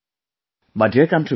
My dear countrymen,